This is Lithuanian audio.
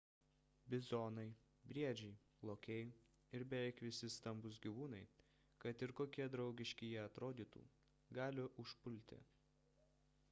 bizonai briedžiai lokiai ir beveik visi stambūs gyvūnai kad ir kokie draugiški jie atrodytų gali užpulti